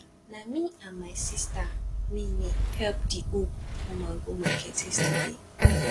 na me and my sista me me help di old woman go market yesterday